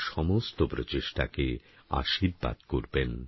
সমস্ত প্রচেষ্টাকে আশীর্বাদ করবেন